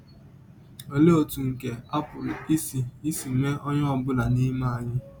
Ọlee ọtụ nke a pụrụ isi isi mee ọnye ọ bụla n’ime anyị?